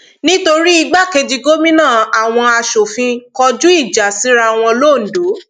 nítorí igbákejì gómìnà àwọn asòfin kọjú ìjà síra wọn londo